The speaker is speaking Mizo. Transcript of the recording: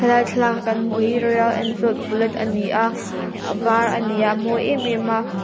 he lai thlalaka kan hmuh hi royal enfield bullet a ni a a var a ni a a mawi em em a.